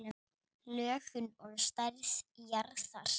Lögun og stærð jarðar